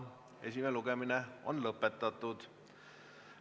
Esimene lugemine on lõpetatud.